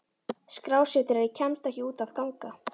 Skrásetjari kemst ekki út að ganga.